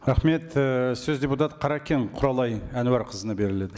рахмет і сөз депутат қаракен құралай әнуарқызына беріледі